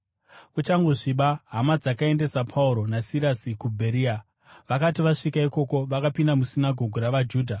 Kuchangosviba, hama dzakaendesa Pauro naSirasi kuBheria. Vakati vasvika ikoko, vakapinda musinagoge ravaJudha.